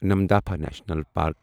Namdapha national park